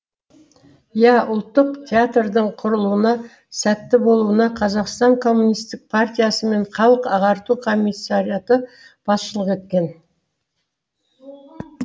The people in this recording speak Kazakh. иә ұлттық театрдың құрылуына сәтті болуына қазақстан коммунистік партиясы мен халық ағарту комиссариаты басшылық еткен